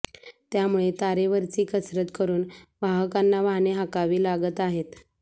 त्यामुळे तारेवरची कसरत करून वाहकांना वाहने हाकावी लागत आहेत